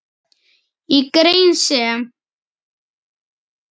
Í grein sem